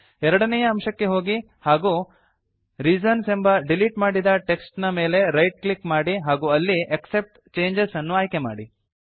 ಎರಡನೇ ಅಂಶಕ್ಕೆ ಹೋಗಿ ಹಾಗೂ ರೀಸನ್ಸ್ ಎಂಬ ಡೀಲೀಟ್ ಮಾಡಿದ ಟೆಕ್ಸ್ಟ್ ನ ಮೇಲೆ ರೈಟ್ ಕ್ಲಿಕ್ ಮಾಡಿ ಹಾಗೂ ಅಲ್ಲಿ ಆಕ್ಸೆಪ್ಟ್ ಚೇಂಜಸ್ ಅನ್ನು ಆಯ್ಕೆ ಮಾಡಿ